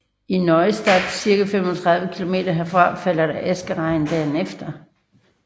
I Neustadt cirka 35 kilometer derfra faldt der askeregn dagen efter